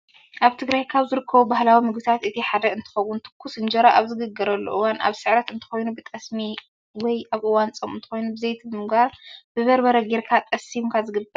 ኣብ ትግራይ ካብ ዝርከቡ ባህላዊ ምግብታት እቲ ሓደ እንትኸውን ትኩስ እንጀራ ኣብ ዝግገረሉ እዋን ኣብ ስዕረት እንተኾይኑ ብጠስሚ ወይ ኣብ እዋን ፆም እንተኾይኑ ብዘይቲ ብምግባር ብበርበረ ገይርካ ጣስሚካ ዝግበር እዩ።